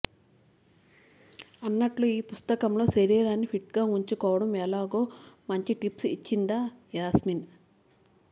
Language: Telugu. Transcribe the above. అన్నట్లు ఈ పుస్తకంలో శరీరాన్ని ఫిట్ గా ఉంచుకోవడం ఎలాగో మంచి టిప్స్ ఇచ్చిందట యాస్మిన్